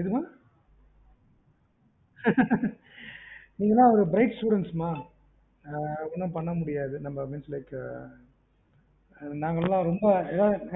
என்ன மா நீங்கலா bright students மா ஒன்னும் பண்ணமுடியாது நாங்கல்லாம் ரொம்ப